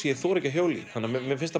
ég þori ekki að hjóla í þannig að mér mér finnst